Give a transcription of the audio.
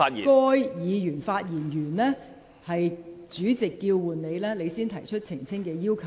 而須在該議員發言完畢後，待主席叫喚其名字，他方可提出澄清要求。